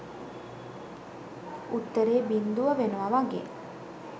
උත්තරේ බින්දුව වෙනවා වගේ.